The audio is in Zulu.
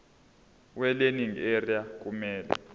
welearning area kumele